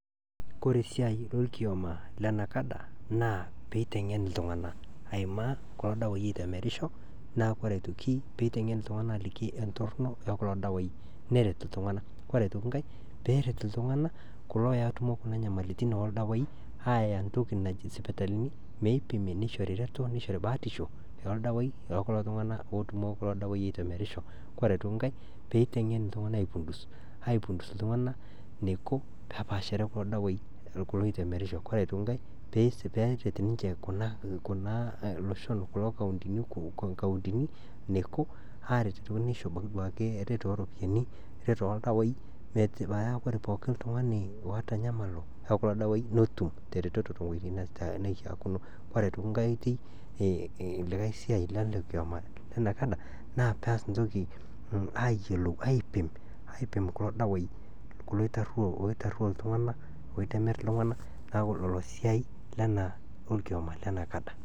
Kore esiaai e orkioma le NACADA naa peitengen ltungana aimaa kulo dawaii oitemerisho, neaku koree aitoki peitengen ltunganak aliki entorno ookulo dawaii neret ltungana, kore aitoki inkae peeret ltungana kulo ootumo kuna inyamalitin ordawaii aaya entoki najii isipitalini meipimi neichori ereto, neishori ebaatisho, neishori irdawaii loo kulo tungaana ootumo kulo dawai oitemerisho, kore aitoki inkae peitengen ltungana aipundus ltungana neiko pepaashare kulo dawaai kulo oitemerisho, ore aitoki inkae peeret ninche kulo loshon kuna nkauntini neiko aaret neisho duake abaki ereto ooropiyiani, reto ooldawai paa ore pooki tungani oota inyamalo oo kulo dawaii netum te retoto te weji neishaakuno, ore aitoki nkae oitoi likai siaai le ale orkioma le NCADA naa peas ntoki aayelou aipim kulo dawaii, kulo oitarioo ltungana oitemer irtungana, naaku ilo siaai lena ke orkioma le NACADA.